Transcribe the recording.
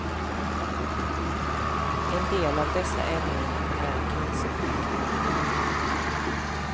En del av dessa ämnen är cancerframkallande.